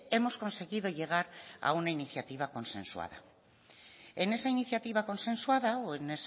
hemos conseguido llegar a una iniciativa consensuada en esa iniciativa consensuada o en